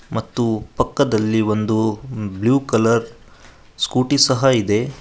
ಮತ್ತು ಪಕ್ಕದಲ್ಲಿ ಒಂದು ಬ್ಲೂ ಕಲರ್ ಸ್ಕೂಟಿ ಸಹ ಇದೆ.